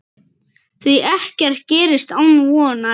Því ekkert gerist án vonar.